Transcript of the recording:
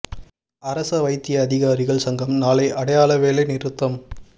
அரச வைத்திய அதிகாரிகள் சங்கம் நாளை அடையாள வேலை நிறுத்தம்